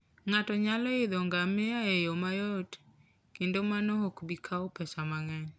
Ng'ato nyalo idho ngamia e yo mayot, kendo mano ok bi kawo pesa mang'eny.